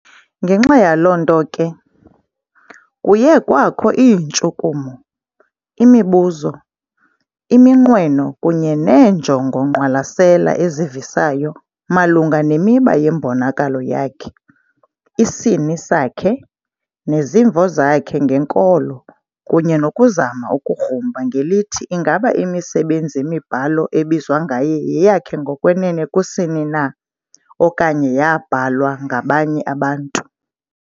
ngenxa yaloonto ke, kuye kwakho iintshukumo, imibuzo, iminqweno kunye neenjongo-ngqwalasela ezivisayo malunga nemiba yembonakalo yakhe, isini sakhe, nezimvo zakhe ngenkolo kunye nokuzama ukugrumba ngelithi ingaba imisebenzi-mibhalo ebizwa ngaye yeyakhe ngokwenene kusini na okanye yaabhalwa ngabanye abantu.